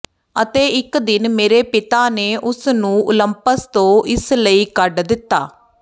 ਅਤੇ ਇਕ ਦਿਨ ਮੇਰੇ ਪਿਤਾ ਨੇ ਉਸ ਨੂੰ ਓਲੰਪਸ ਤੋਂ ਇਸ ਲਈ ਕੱਢ ਦਿੱਤਾ